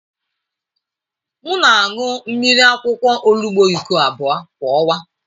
M na-aṅụ mmiri akwụkwọ olugbu iko abụọ kwa ọnwa.